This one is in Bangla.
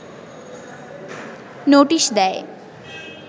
নোটিশ দেয়